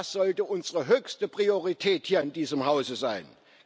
Das sollte unsere höchste Priorität hier in diesem Hause sein.